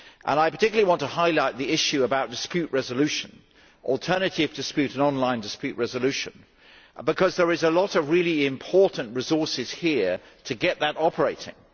I particularly want to highlight the issue about dispute resolution, or rather alternative and on line dispute resolution, because there are a lot of really important resources to help get that operating.